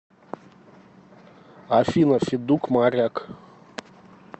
афина федук моряк